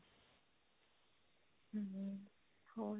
ਹਮ ਹੋਰ